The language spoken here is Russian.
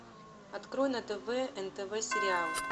открой на тв нтв сериал